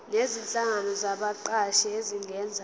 nezinhlangano zabaqashi zingenza